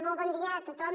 molt bon dia a tothom